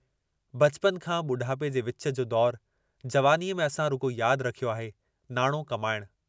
बचपन खां बुढापे जे विच जो दौरु, जवानीअ में असां रुगो याद रखियो आहे नाणो कमाइण।